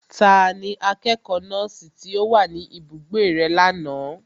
Tani akẹ́kọ̀ọ́ nọ́ọ̀sì tí ó wá sí ibùgbé rẹ lánàá?